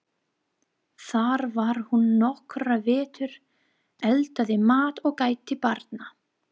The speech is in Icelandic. Þar var hún nokkra vetur, eldaði mat og gætti barna.